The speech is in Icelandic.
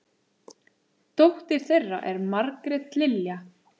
Dóttir þeirra er Margrét Lilja.